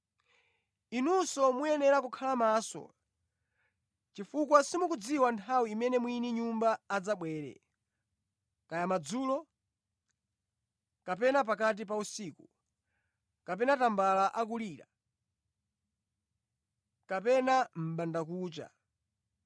“Inunso muyenera kukhala maso chifukwa simukudziwa nthawi imene mwini nyumba adzabwere, kaya madzulo, kapena pakati pa usiku, kapena tambala akulira, kapena mʼbandakucha.